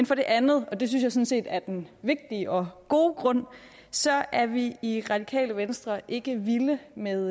for det andet og det synes jeg sådan set er den vigtige og gode grund så er vi i radikale venstre ikke vilde med